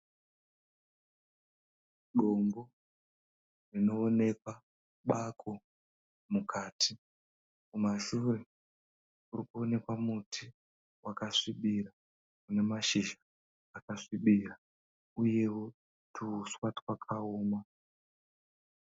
Dombo rinoonekwa bako mukati. Kumashure kurikuonekwa muti wakasvibira unemashizha akasvibira uyewo tuuswa twakaoma.